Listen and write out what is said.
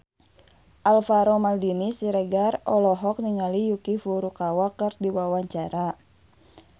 Alvaro Maldini Siregar olohok ningali Yuki Furukawa keur diwawancara